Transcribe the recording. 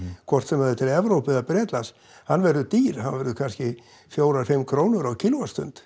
hvort sem það er til Evrópu eða Bretlands hann verður dýr hann verður kannski fjórar fimm krónur á